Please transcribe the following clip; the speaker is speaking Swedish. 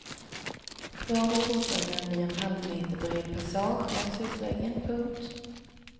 Kvar för fotgängaren blir en halvmeterbred passage längs husväggen. punkt